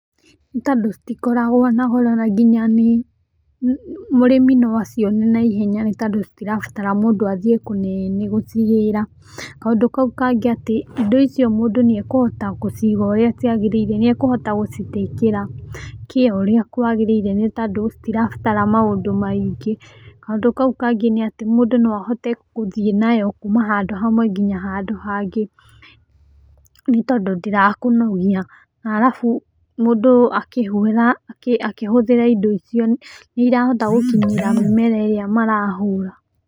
Nĩ tondũ citikoragwo na goro na nginya mũrĩmi no acione na ihenya nĩ tondũ citirabatara mũndũ athiĩ kũnene gũcigĩra, kaũndũ kau kangĩ atĩ, indo icio mũndũ nĩ akũhota gũciga ũrĩa ciagĩrĩire, nĩ ekũhota gũcitĩkĩra care ũrĩa kwagĩrĩire nĩ tondũ citirabatara maũndũ maingĩ, kaũndũ kau kangĩ nĩ atĩ mũndũ no ahote gũthiĩ nayo kuma handũ hamwe nginya handũ hangĩ, nĩ tondũ ndĩrakũnogia, arabu mũndũ akĩhuhĩra, akĩhũthĩra indo icio nĩ ĩrahota gũkinyĩra mĩmera ĩrĩa marahũra.